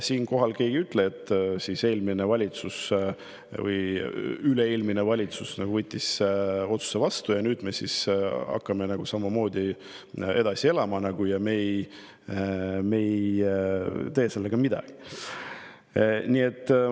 Keegi ei ütle, et eelmine või üle-eelmine valitsus võttis otsuse vastu ja nüüd me hakkame samamoodi edasi elama ega tee sellega midagi.